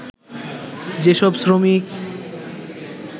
যেসব শ্রমিক